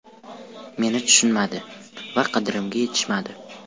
Meni tushunishmadi va qadrimga yetishmadi.